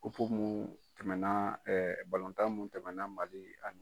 Kupu mun tɛmɛna balɔntan mun tɛmɛna Mali ani